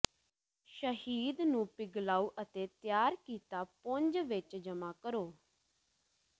ਸ਼ਹਿਦ ਨੂੰ ਪਿਘਲਾਓ ਅਤੇ ਤਿਆਰ ਕੀਤਾ ਪੁੰਜ ਵਿੱਚ ਜਮਾ ਕਰੋ